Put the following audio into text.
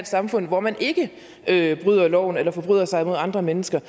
samfund hvor man ikke ikke bryder loven eller forbryder sig mod andre mennesker